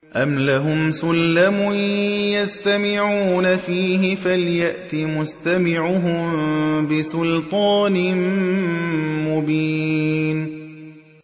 أَمْ لَهُمْ سُلَّمٌ يَسْتَمِعُونَ فِيهِ ۖ فَلْيَأْتِ مُسْتَمِعُهُم بِسُلْطَانٍ مُّبِينٍ